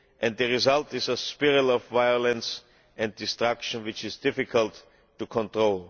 The result is a spiral of violence and destruction which is difficult to control.